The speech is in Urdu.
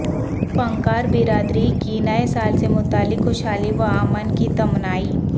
فنکار برادری کی نئے سال سے متعلق خوشحالی و امن کی تمنائیں